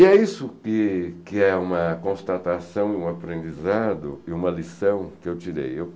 E é isso que que é uma constatação, um aprendizado e uma lição que eu tirei.